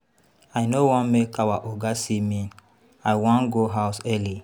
I no wan make our Oga see me I wan go house early.